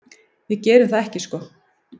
Við gerum það ekki sko.